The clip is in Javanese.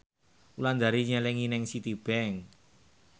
Wulandari nyelengi nang Citibank